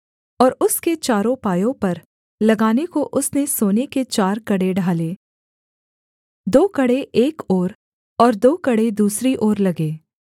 और उसके चारों पायों पर लगाने को उसने सोने के चार कड़े ढाले दो कड़े एक ओर और दो कड़े दूसरी ओर लगे